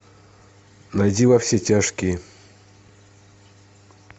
найди во все тяжкие